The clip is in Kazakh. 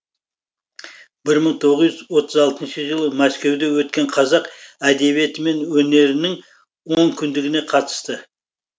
бір мың тоғыз жүз отыз алтыншы жылы мәскеуде өткен қазақ әдебиеті мен өнерінің онкүндігіне қатысты